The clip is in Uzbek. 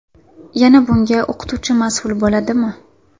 Yana bunga o‘qituvchi mas’ul bo‘ladimi?